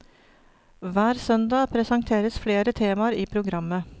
Hver søndag presenteres flere temaer i programmet.